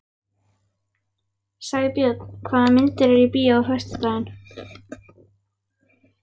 Sæbjörn, hvaða myndir eru í bíó á föstudaginn?